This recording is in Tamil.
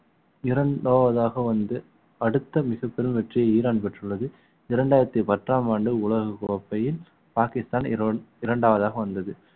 இரண்டாவதாக வந்து அடுத்த மிகப்பெரும் வெற்றியை ஈரான் பெற்றுள்ளது இரண்டாயிரத்தி பத்தாம் ஆண்டு உலகக் கோப்பையில் பாக்கிஸ்தான் இர~ இரண்டாவதாக வந்தது